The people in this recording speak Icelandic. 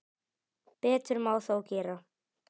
Betur má þó gera.